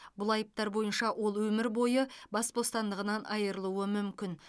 бұл айыптар бойынша ол өмір бойы бас бостандығынан айырылуы мүмкін